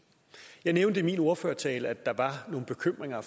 jeg nævnte i min ordførertale at der var nogle bekymringer